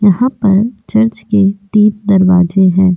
यहाँ पर चर्च के तीन दरवाजे हैं।